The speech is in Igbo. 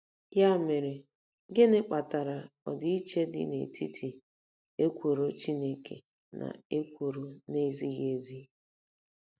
Ya mere, gịnị kpatara ọdịiche dị n'etiti ekworo Chineke na ekworo na-ezighị ezi?